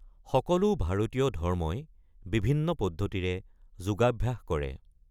সকলো ভাৰতীয় ধৰ্মই বিভিন্ন পদ্ধতিৰে যোগাভ্যাস কৰে।